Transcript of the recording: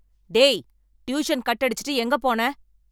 டேய் tuition cut அடிச்சுட்டு எங்க போன?